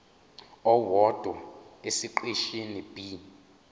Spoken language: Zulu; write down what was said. owodwa esiqeshini b